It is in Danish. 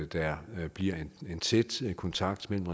der bliver en tæt kontakt mellem